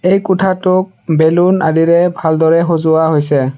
এই কোঠাটোক বেলুন আদিৰে ভালদৰে সজোৱা হৈছে।